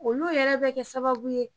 Olu yɛrɛ bɛ kɛ sababu ye